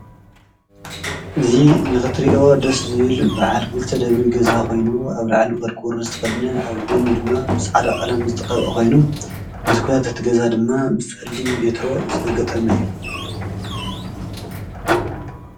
እዙ ንኽትሪዮ ደስ ዝብል ብዓልክሊተ ደብሪ ገዛ ኾይኑ ኣብ ርዕሊ ወርቁር ዝትኸድነ ኣብ ጐኑ ድማ ብስዕዳቕዓላም ዝተቐብአ ኾይኑ መዝኳያት እትገዛ ድማ ብስሊም ቤትሮ ዝተገጠመ እዩ።